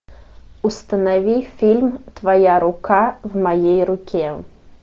установи фильм твоя рука в моей руке